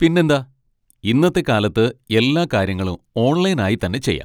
പിന്നെന്താ! ഇന്നത്തെ കാലത്ത് എല്ലാ കാര്യങ്ങളും ഓൺലൈൻ ആയി തന്നെ ചെയ്യാം.